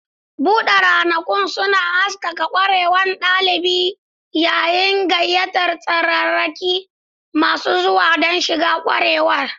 Buɗe ranakun suna haskaka ƙwararrun ɗalibi yayin gayyatar tsararraki masu zuwa don shiga ƙwarewar.